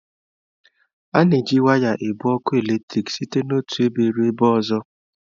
A na-eji waya ebu ọkụ eletrik site n'otu ebe ruo ebe ọzọ.